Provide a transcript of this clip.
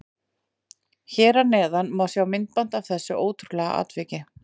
Hér að neðan má sjá myndband af þessu ótrúlega atviki.